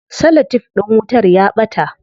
Cellotef din wutar ya ɓata.